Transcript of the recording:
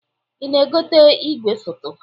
Ị na-egote igwefoto?